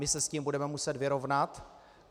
My se s tím budeme muset vyrovnat.